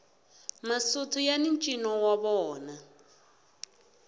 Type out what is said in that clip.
masotho yani ncino wa vona